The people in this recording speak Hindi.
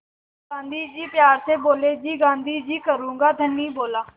गाँधी जी प्यार से बोले जी गाँधी जी करूँगा धनी बोला